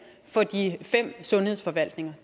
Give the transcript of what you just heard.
for de fem sundhedsforvaltninger